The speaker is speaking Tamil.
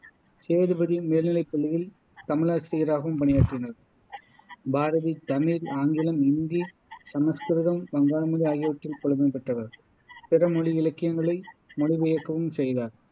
சேதுபதி மேல்நிலைப் பள்ளியில் தமிழாசிரியராகவும் பணியாற்றினார் பாரதி தமிழ், ஆங்கிலம், இந்தி, சமஸ்கிருதம், வங்காள மொழி ஆகியவற்றில் புலமை பெற்றவர் பிற மொழி இலக்கியங்களை மொழி பெயர்க்கவும் செய்தார்